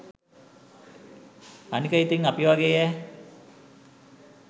අනික ඉතින් අපි වගේයැ